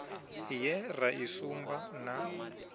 ye ra i sumba na